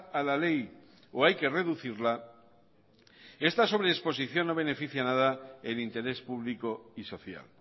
a la ley o hay que reducirla esta sobredisposición no beneficia a nada el interés público y social